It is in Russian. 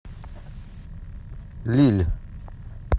лилль